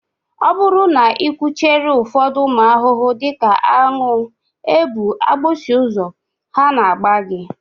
Ọ bụrụ na ị kwụchiere ụfọdụ ụmụ ahụhụ dị ka aṅụ, ebu, agbịsị ụzọ, ha na-agba gị